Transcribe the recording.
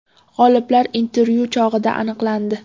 G‘oliblar intervyu chog‘ida aniqlandi.